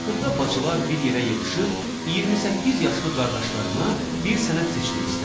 Axırda bacılar bir yerə yığışıb 28 yaşlı qardaşlarına bir sənət seçmək istədilər.